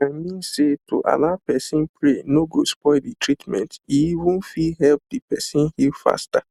i mean say to allow person pray no go spoil the treatment e even fit help the person heal faster